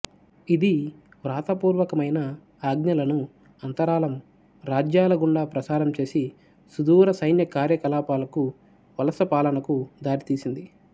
ఇది వ్రాత పూర్వకమైన ఆజ్ఞలను అంతరాళం రాజ్యాలగుండా ప్రాసారంచేసి సుదూర సైన్యకార్యకలాపాలకు వలసపాలనకు దారితీసింది